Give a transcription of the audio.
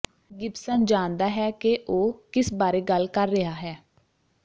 Gibson ਜਾਣਦਾ ਹੈ ਕਿ ਉਹ ਕਿਸ ਬਾਰੇ ਗੱਲ ਕਰ ਰਿਹਾ ਹੈ